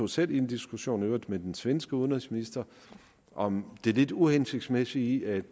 selv i en diskussion i øvrigt med den svenske udenrigsminister om det lidt uhensigtsmæssige i at